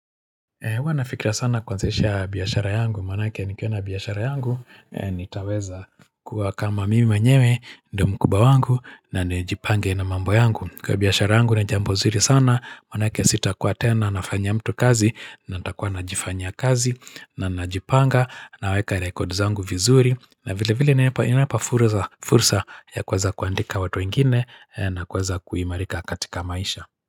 Huwa nafikiria sana kuanzisha biashara yangu, maanake nikiona biashara yangu, nitaweza kuwa kama mimi mwenyewe, ndo mkubwa wangu, na nijipange na mambo yangu, kwa biashara yangu ni jambo nzuri sana, manake sitakuwa tena, nafanyua mtu kazi, na nitakuwa najifanyia kazi, na najipanga, naweka record zangu vizuri, na vile vile inanipa fursa ya kuweza kuandika watu wengine, na kuweza kuimarika katika maisha.